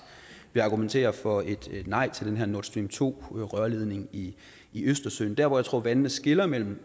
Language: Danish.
vi argumenteret for et nej til den her nord stream to rørledning i i østersøen der hvor jeg tror vandene skiller mellem